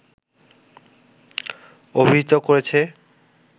অভিহিত করেছে